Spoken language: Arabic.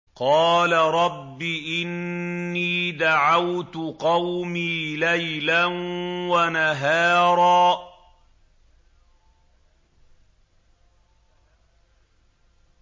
قَالَ رَبِّ إِنِّي دَعَوْتُ قَوْمِي لَيْلًا وَنَهَارًا